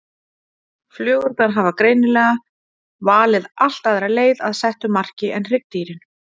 Flugurnar hafa greinilega valið allt aðra leið að settu marki en hryggdýrin.